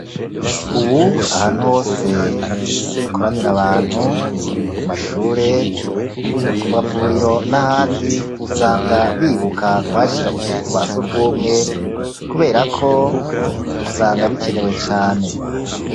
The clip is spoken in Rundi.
Ubu ahantu hose hakoranira abantu, ku mashure, ku mavuriro n'ahandi; usanga bibuka kuhashira utuzu twa surwumwe, kubera ko, usanga bikenewe cane.